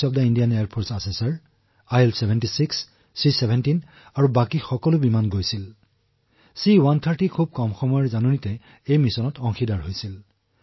আৰু অতিশয় কম সময়ৰ ভিতৰত গৈছে C130 যিয়ে মিছন সম্পন্ন কৰিছে